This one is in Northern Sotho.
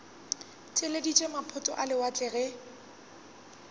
theeleditše maphoto a lewatle ge